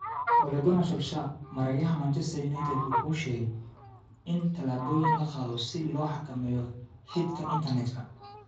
Ole Gunnar Solskjær: Maareeyaha Manchester United wuxuu sheegay in tallaabooyin la qaado si loo xakameeyo hate-ka internetka.